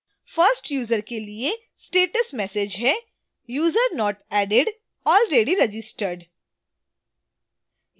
1st user के लिए status message है: